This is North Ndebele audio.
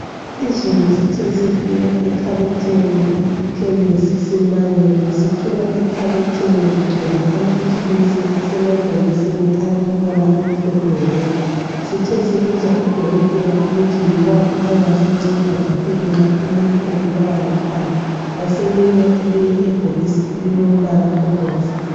Izolo sithe sifika ekhabothini lekhemisi simangele sithola ekhabothini kugcwele amaphilisi asemabhokisini alombala omhlophe wodwa .Sithe sibuza udokotela ukuthi yiwaphi angasinceda kakhulu nxa umuntu ebulawa likhanda .Wasinika elinye ibhokisi elilombala obomvu .